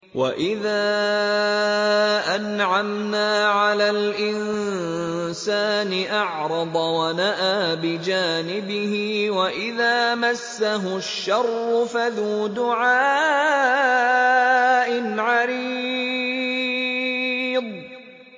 وَإِذَا أَنْعَمْنَا عَلَى الْإِنسَانِ أَعْرَضَ وَنَأَىٰ بِجَانِبِهِ وَإِذَا مَسَّهُ الشَّرُّ فَذُو دُعَاءٍ عَرِيضٍ